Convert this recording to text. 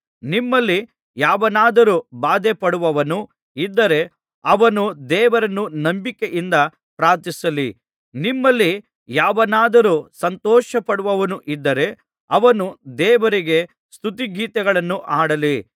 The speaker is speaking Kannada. ನಿಮ್ಮಲ್ಲಿ ಯಾವನಾದರೂ ಬಾಧೆಪಡುವವನು ಇದ್ದರೆ ಅವನು ದೇವರನ್ನು ನಂಬಿಕೆಯಿಂದ ಪ್ರಾರ್ಥಿಸಲಿ ನಿಮ್ಮಲ್ಲಿ ಯಾವನಾದರೂ ಸಂತೋಷಪಡುವವನು ಇದ್ದರೆ ಅವನು ದೇವರಿಗೆ ಸ್ತುತಿಗೀತೆಗಳನ್ನು ಹಾಡಲಿ